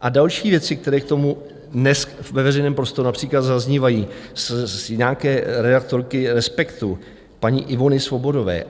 a další věci, které k tomu dnes ve veřejném prostoru například zaznívají od nějaké redaktorky Respektu, paní Ivany Svobodové.